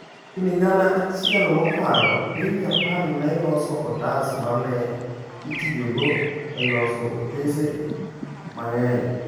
Higni gana achiel mokalo, piny Japan ne loso otas ma ne itiyogo e loso otese mang’eny.